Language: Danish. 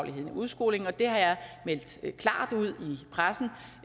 i udskolingen og det har jeg i pressen